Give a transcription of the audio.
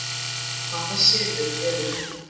Hvaða senur eru þetta?